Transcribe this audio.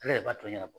Ale de b'a to ɲɛna